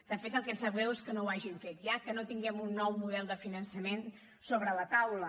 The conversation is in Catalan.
de fet el que ens sap greu és que no ho hagin fet ja que no tinguem un nou model de finançament sobre la taula